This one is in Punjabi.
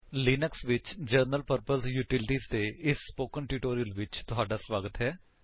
ਲਿਨਕਸ ਵਿੱਚ ਜਨਰਲ ਪਰਪਜ ਯੂਟੀਲੀਟੀਜ ਦੇ ਇਸ ਸਪੋਕਨ ਟਿਊਟੋਰਿਅਲ ਵਿੱਚ ਤੁਹਾਡਾ ਸਵਾਗਤ ਹੈ